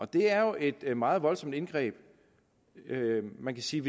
det er jo et meget voldsomt indgreb man kan sige